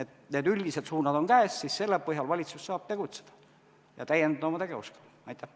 Kui need üldised suunad on käes, siis selle põhjal valitsus saab tegutseda ja oma tegevuskava täiendada.